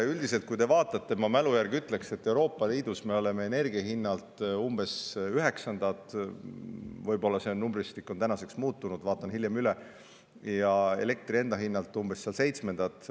Nii et ma mälu järgi ütleksin, et Euroopa Liidus me oleme üldiselt energia hinna poolest umbes üheksandad – võib-olla see numbristik on tänaseks muutunud, vaatan selle hiljem üle – ja elektri enda hinna poolest umbes seitsmendad.